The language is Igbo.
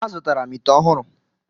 Azụtara m ite ọhụrụ.